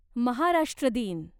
महाराष्ट्र दिन